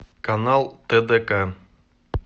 канал тдк